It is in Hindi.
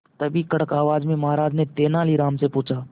तभी कड़क आवाज में महाराज ने तेनालीराम से पूछा